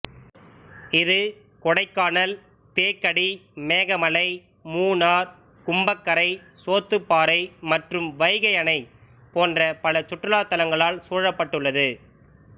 இது கொடைக்கானல் தேக்கடி மேகமலை மூணார் கும்பக்கரை சோத்துப்பாறை மற்றும் வைகை அணை போன்ற பல சுற்றுலா தலங்களால் சூழப்பட்டுள்ளது